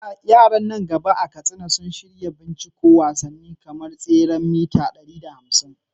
Yaran nan gaba a Katsina sun shirya binciko wasanni kamar tseren mita 1500.